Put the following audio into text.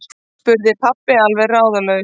spurði pabbi alveg ráðalaus.